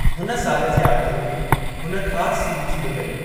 हुन साल जे आख़िरि में हुन ख़ासि सीरीज़ बि कई।